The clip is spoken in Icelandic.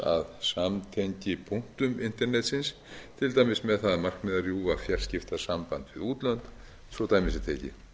að samtengipunktum internetsins til dæmis með það að markmiði að rjúfa fjarskiptasamband við útlönd svo dæmi sé tekið í